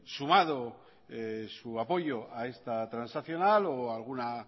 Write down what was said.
sumado su apoyo a esta transaccional o alguna